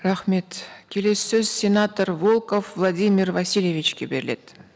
рахмет келесі сөз сенатор волков владимир васильевичке беріледі